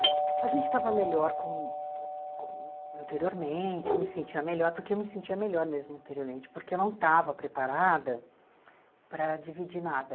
A gente estava melhor como como anteriormente, eu me sentia melhor, porque eu me sentia melhor mesmo anteriormente, porque eu não estava preparada para dividir nada.